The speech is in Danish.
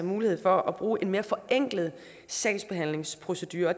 mulighed for at bruge en mere forenklet sagsbehandlingsprocedure